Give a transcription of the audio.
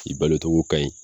I balotogo kaɲi